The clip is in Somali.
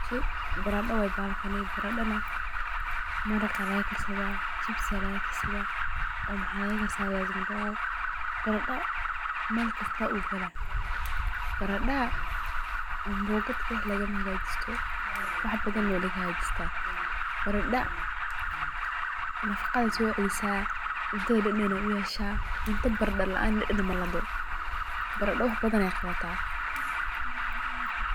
Barado waye bahalkan oo wax badan aya lagakarsada sida jibsi fiyazi iyo waxbadan barada ambogad kali lagamahagajisto wax badan lagahagajista oo naqa iyo cafimadke socelisa marka wax badan ayey qawata.